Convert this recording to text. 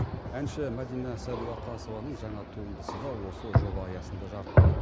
әнші мәдина сәдуақасованың жаңа туындысы да осы жоба аясында жарық көреді